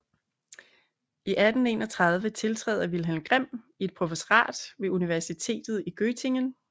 I 1831 tiltræder Wilhelm Grimm et professorat ved Universitet i Göttingen